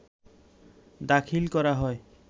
দাখিল করা হয়